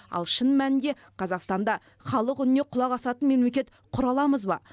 ал шын мәнінде қазақстанда халық үніне құлақ асатын мемлекет құра аламыз ба